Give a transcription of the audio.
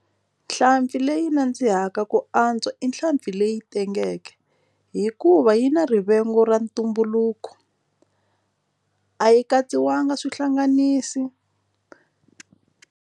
Nhlampfi leyi nandzihaka ku antswa i nhlampfi leyi tengeke hikuva yi na rivengo ra ntumbuluko a yi katsiwanga swihlanganisi.